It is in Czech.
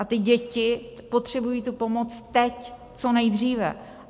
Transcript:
A ty děti potřebují tu pomoci teď co nejdříve.